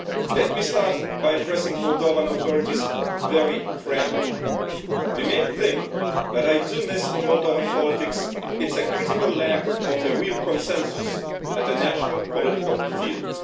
Let me start by addressing the Moldovan authorities very frankly the main thing that I miss in Moldovan politics is a critical lack of a real consensus in the national political field.